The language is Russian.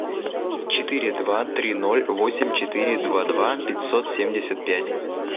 четыре два три ноль восемь четыре два два пятьсот семьдесят пять